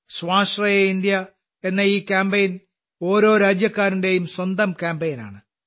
സ്വാശ്രയ ഇന്ത്യ എന്ന ഈ കാമ്പയിൻ ഓരോ രാജ്യക്കാരന്റെയും സ്വന്തം കാമ്പെയ്നാണ്